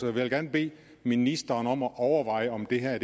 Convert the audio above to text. vil da gerne bede ministeren om at overveje om det her er